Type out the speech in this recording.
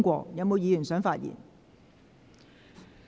是否有議員想發言？